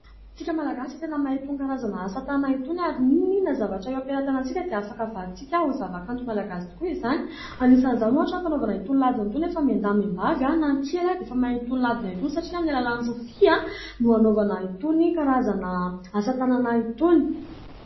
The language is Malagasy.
Antsika Malagasyy tena mahay itony karazana asa-tanana itony ary ninoninona zavatra eo am-pelam-tanantsika dia afaka avadin-tsika ho zavakanto Malagasy tokoa izany anisan'izany ohatra fanaovana itony ladino itony nefa mihen-daha mihen-bavy na ny kely dia efa mahay itony ladino itony satria amin'ny alalàn'ny rofia no hanaovana itony karazana asa-tanana itony.